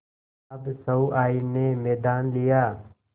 अब सहुआइन ने मैदान लिया